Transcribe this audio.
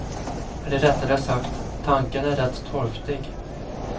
Eller rättare sagt, tanken är rätt torftig.